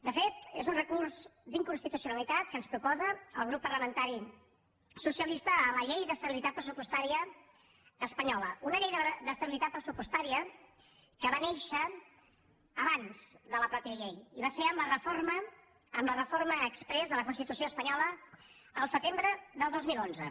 de fet és un recurs d’inconstitucionalitat que ens proposa el grup parlamentari socialista a la llei d’estabilitat pressupostària espanyola una llei d’estabilitat pressupostària que va néixer abans que la llei mateixa i va ser amb la reforma exprés de la constitució espanyola al setembre del dos mil onze